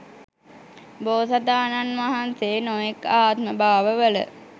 බෝසතාණන් වහන්සේ නොයෙක් ආත්ම භාව වල